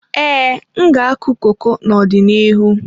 Ee, m ga-akụ koko n'ọdịnihu.